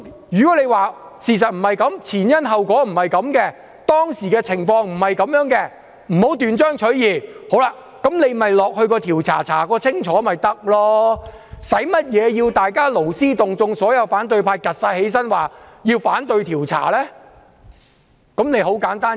如果他們說事實不是這樣，前因後果不是這樣，當時的情況不是這樣，不要斷章取義，便應該交付調查委員會調查清楚，犯不着要所有反對派站起來，勞師動眾地說要反對調查。